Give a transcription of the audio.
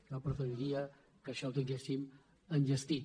jo preferiria que això ho tinguéssim enllestit